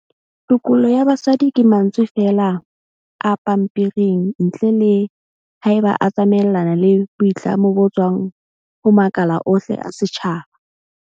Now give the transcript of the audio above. Tokollo ya basadi ke mantswe feela a pampering ntle le haeba e tsamaelana le boitlamo bo tswang ho makala ohle a setjhaba.